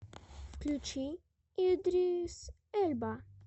включи идрис эльба